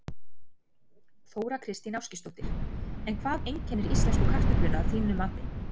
Þóra Kristín Ásgeirsdóttir: En hvað einkennir íslensku kartöfluna að þínu mati?